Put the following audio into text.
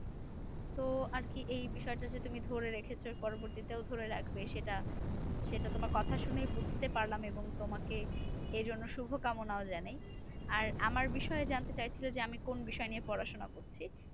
তো আর কি এই বিষয়টা যে তুমি দূরে রেখেছ পরবর্তীতেও ধরে রাখবে সেটা। সেটা তোমার কথা শুনেই বুঝতে পারলাম এবং তোমাকে এর জন্য শুভকামনাও জানাই। আর আমার বিষয়ে জানতে চেয়েছিলে যে, আমি কোন বিষয় নিয়ে পড়াশোনা করছি?